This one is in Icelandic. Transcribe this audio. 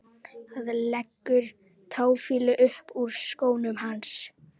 Það leggur táfýlu upp úr skónum hans.